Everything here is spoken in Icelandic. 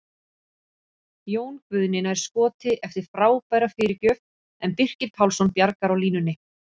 Jón Guðni nær skoti eftir frábæra fyrirgjöf en Birkir Pálsson bjargar á línunni!